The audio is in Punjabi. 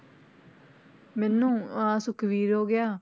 ਮੈਨੂੰ ਆਹ ਸੁਖਵੀਰ ਹੋ ਗਿਆ।